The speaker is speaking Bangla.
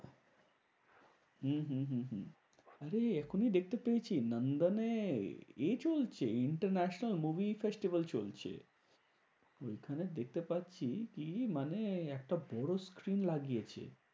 হম হম হম আরে এখনই দেখতে পেয়েছি নন্দনে এ চলছে International movie festival চলছে। ওইখানে দেখতে পারছি কি মানে একটা বড় screen লাগিয়েছে।